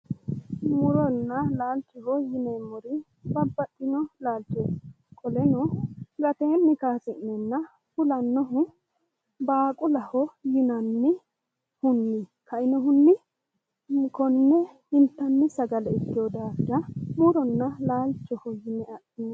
Muronna laalchoho yineemmori babbaxxino laalchooti qoleno gateenni kaasi'neenna fulannohu baaqulaho yinannihunni ka"inohunni konne intanni sagale ikkiyo daafira konne muronna laalchoho yine adhinanni.